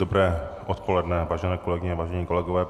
Dobré odpoledne, vážené kolegyně, vážení kolegové.